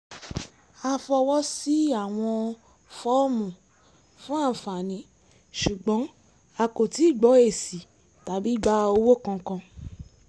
a fọwọ́ sí àwọn fọ́ọ̀mù fún àǹfààní ṣùgbọ́n a kò tíì gbọ èsì tàbí gba owó kankan